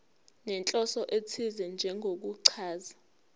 nenhloso ethize njengokuchaza